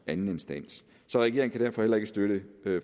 anden instans så regeringen kan derfor heller ikke støtte